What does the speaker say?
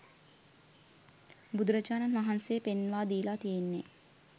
බුදුරජාණන් වහන්සේ පෙන්වා දීලා තියෙන්නේ